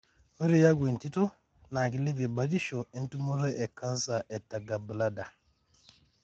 ore aku entito na kilepie batisho etumoto e canser tegallbladder.